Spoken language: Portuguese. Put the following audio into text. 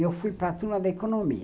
E eu fui para a Turma da Economia.